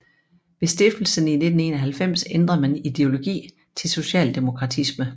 Ved stiftelsen i 1991 ændrede man ideologi til socialdemokratisme